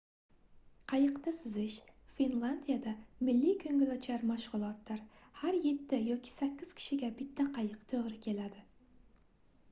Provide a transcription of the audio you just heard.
qayiqda suzish finlandiyada milliy koʻngilochar mashgʻulotdir har yetti yoki sakkiz kishiga bitta qayiq toʻgʻri keladi